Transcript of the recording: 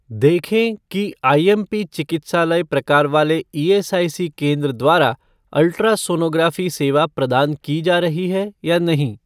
देखें कि आईएमपी चिकित्सालय प्रकार वाले ईएसआईसी केंद्र द्वारा अल्ट्रासोनोग्राफ़ी सेवा प्रदान की जा रही है या नहीं?